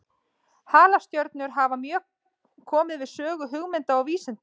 Halastjörnur hafa mjög komið við sögu hugmynda og vísinda.